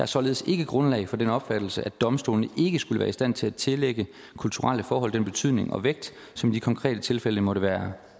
således ikke grundlag for den opfattelse at domstolene ikke skulle være i stand til at tillægge kulturelle forhold den betydning og vægt som i de konkrete tilfælde måtte være